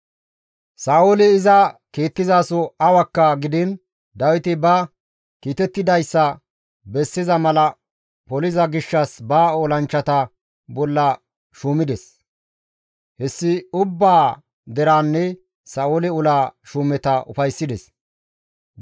Sa7ooli iza kiittizaso awakka gidiin Dawiti ba kiitettidayssa bessiza mala poliza gishshas ba olanchchata bolla iza shuumides; hessi ubbaa deraanne Sa7oole ola shuumeta ufayssides.